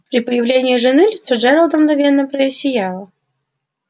при появлении жены лицо джералда мгновенно просияло